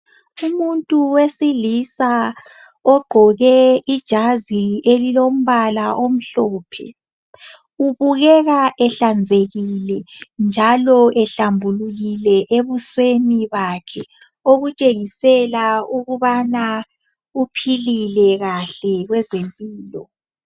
Umuntu wesilisa ogqoke ijazi elilombala omhlophe ubukeka ehlanzekile njalo ehlambulukile ebusweni bakhe okutshengisela ukubana uphilile kahle kwezempilo.